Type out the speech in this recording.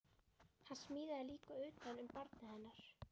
Hann smíðaði líka utan um barnið hennar